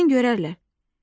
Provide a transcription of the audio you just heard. Birdən görərlər.